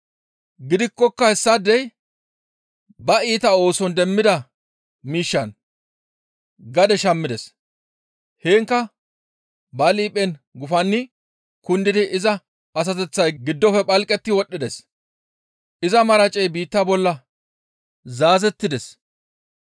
Gidikkoka hayssaadey ba iita ooson demmida miishshan gade shammides; heenkka ba liiphen gufanni kundiin iza asateththay giddofe phalqetti wodhdhides; iza maracey biitta bolla zaazettides.